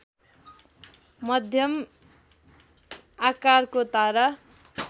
मध्यम आकारको तारा